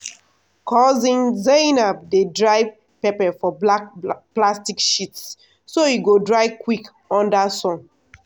cousin zainab dey dry pepper for black plastic sheets so e go dry quick under sun.